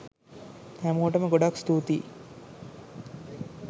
හැමෝටම ගොඩාක් ස්තූතියි.